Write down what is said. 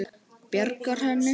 Bjarga henni?